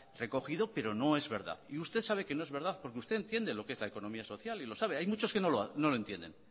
recogido pero no es verdad y usted sabe que no es verdad porque usted entiende lo que es la economía social y lo sabe hay muchos que no lo entienden